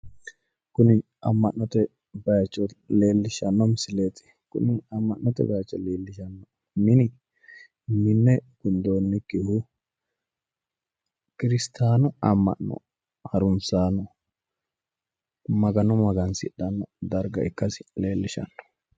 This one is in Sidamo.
kuni amma'note bayicho leellishshano misileeti kuni amma'note bayiicho leellishshanno mini minne gundoonnikkihu kirstaanu amma'no harunsaano magano magansidhanno darga ikkasi leellishshanno.